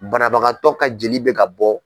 Banabagatɔ ka jeli bɛ ka bɔ.